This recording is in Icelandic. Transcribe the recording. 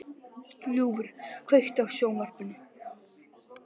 Ljúfur, kveiktu á sjónvarpinu.